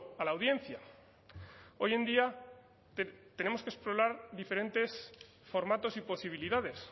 a la audiencia hoy en día tenemos que explorar diferentes formatos y posibilidades